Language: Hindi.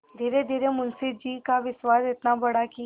धीरेधीरे मुंशी जी का विश्वास इतना बढ़ा कि